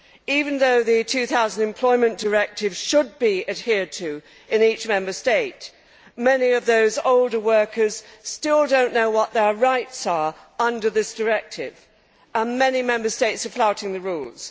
Even though the 2000 Employment Directive should be adhered to in each Member State, many of those older workers still do not know what their rights are under this Directive, and many Member States are flouting the rules.